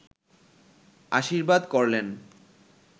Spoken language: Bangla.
আশীর্বাদ করলেন